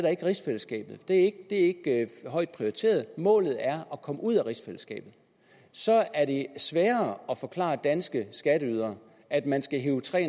er rigsfællesskabet det er ikke højt prioriteret målet er at komme ud af rigsfællesskabet så er det sværere at forklare danske skatteydere at man skal hive tre